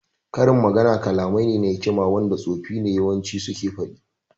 Karin magana kalamai ne na hikima wanda tsofi ne yawanci suke faɗi